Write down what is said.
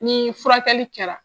Ni furakɛli kɛra